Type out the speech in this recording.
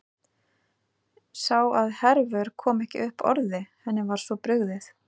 Sá að Hervör kom ekki upp orði, henni var svo brugðið.